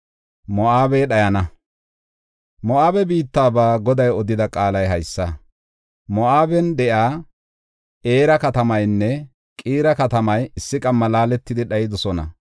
Moo7abe biittaba Goday odida qaalay haysa: Moo7aben de7iya Era katamaynne Qiira katamay issi qamma laaletidi dhayidosona.